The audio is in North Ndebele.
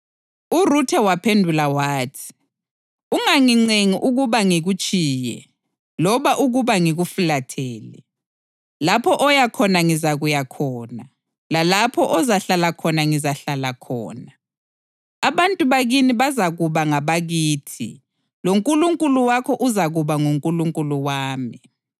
URuthe waphendula wathi, “Ungangincengi ukuba ngikutshiye loba ukuba ngikufulathele. Lapho oya khona ngizakuya khona, lalapho ozahlala khona ngizahlala khona. Abantu bakini bazakuba ngabakithi loNkulunkulu wakho uzakuba nguNkulunkulu wami.